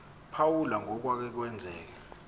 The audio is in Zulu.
phawula ngokwake kwenzeka